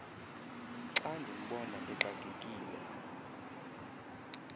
xa ndimbona exakekile